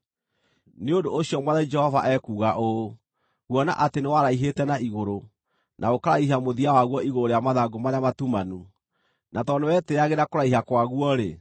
“ ‘Nĩ ũndũ ũcio Mwathani Jehova ekuuga ũũ: Kuona atĩ nĩwaraihĩte na igũrũ, na ũkaraihia mũthia waguo igũrũ rĩa mathangũ marĩa matumanu, na tondũ nĩwetĩĩagĩra kũraiha kwaguo-rĩ,